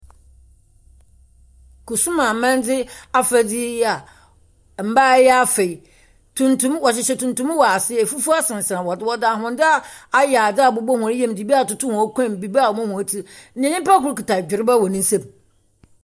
Kusum amanze afadze yi a mmaa yi afa yi, wɔhyehyɛ tuntum wɔ ase. efufuw sensɛn do. Wɔdze ahwendze ayɛ adze abobɔ wɔn yam dze bi atoto wɔn kɔnmu, dze bi abobɔ wɔn tsir. Na nyimpa kor kita dwereba wɔ n'ensam.